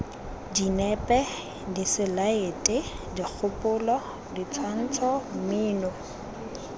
dinepe diselaete dikgopolo ditshwantsho mmino